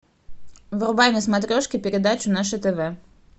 врубай на смотрешке передачу наше тв